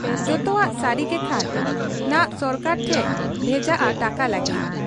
ᱡᱚᱛᱚᱣᱟᱜ ᱥᱟᱹᱨᱤ ᱜᱮᱠᱷᱟᱱ ᱱᱷᱟᱜ ᱥᱚᱨᱠᱟᱨ ᱴᱷᱮᱫ ᱵᱷᱮᱡᱟᱜ ᱟ ᱴᱟᱠᱟ ᱞᱟᱹᱜᱤᱫ ᱾